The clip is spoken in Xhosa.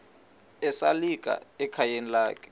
esalika ekhayeni lakhe